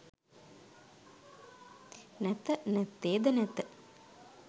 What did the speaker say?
නැත නැත්තේ ද නැත